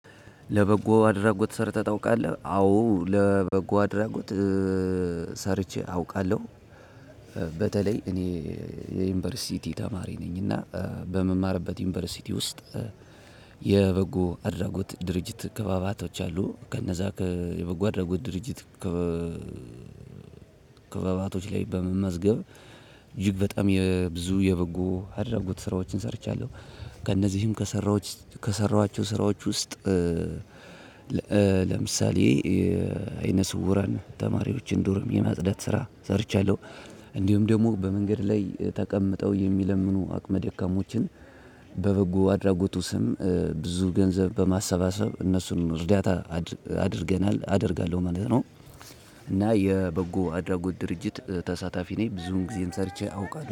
ለበጎ አድራጎት ሰርተህ ታውቃለህ? አዎ ለበጎ አድራጎት ሰርቼ አውቃለሁ። በተለይ እኔ የዩኒቨርሲቲ ተማሪ ነኝ እና በምማርበት ዩኒቨርሲቲ ውስጥ የበጎ አድራጎት ድርጅት ከባባቶች አሉ። ከነዛ የበጎ አድራጎት ድርጅት። ከ ከከበባቶች ላይ በመመዝገብ። እጅግ በጣም የብዙ የበጎ አድርጉት ስራዎችን ሰርቻለሁ። ከእነዚህም ከሰራዎች ከሰራኋቸው ስራዎች ውስጥ። ለምሳሌ አይነ ስውራን ተማሪዎችን ዶርም የማጽዳት ስራ ሰርቻለሁ። እንዲሁም ደግሞ በመንገድ ላይ ተቀምጠው የሚለምኑ አቅመ ደካማዎችን። በበጎ አድራጎቱ ስም ብዙ ገንዘብ በማሰባሰብ እነሱን እርዳታ አድርገናል አደርጋለሁ ማለት ነው። እና የበጎ አድራጎት ድርጅት ተሳታፊ ነኝ ብዙን ጊዜን ሰርቼ አውቃለሁ